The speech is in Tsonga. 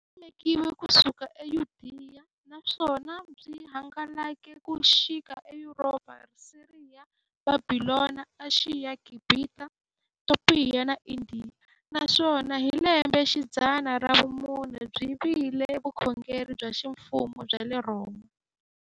Byisimekiwe ku suka e Yudeya, naswona byi hangalake ku xika e Yuropa, Siriya, Bhabhilona, Ashiya, Gibhita, Topiya na Indiya, naswona hi lembexidzana ra vumune byi vile vukhongeri bya ximfumo bya le Rhoma.